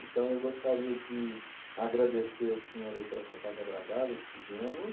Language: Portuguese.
Então, eu gostaria de agradecer ao senhor aí por essa tarde agradável que tivemos.